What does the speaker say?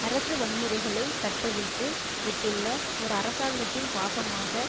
அரசு வன்முறைகளை கட்டவிழ்த்து விட்டுள்ள ஒரு அரசாங்கத்தின் பாகமாக